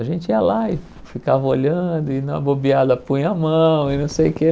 A gente ia lá e ficava olhando, e na bobeada punha a mão e não sei o quê.